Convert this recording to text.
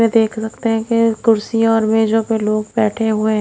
ये देख सकते हैं की कुर्सियां और मेजों पे लोग बैठे हुए--